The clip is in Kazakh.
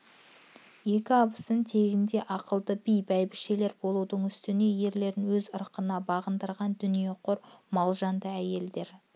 екі абысын тегінде ақылды би бәйбішелер болудың үстіне ерлерін өз ырқына бағындырған дүниеқор малжанды әйелдер